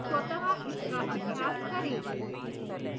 स्वतः इसका अभ्यास करें